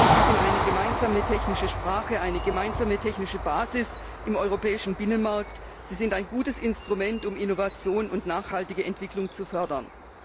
Sie ermöglichen eine gemeinsame technische Sprache, eine gemeinsame technische Basis im europäischen Binnenmarkt, sie sind ein gutes Instrument, um Innovation und nachhaltige Entwicklung zu fördern.